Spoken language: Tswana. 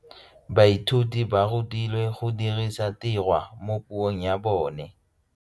Baithuti ba rutilwe go dirisa tirwa mo puong ya bone.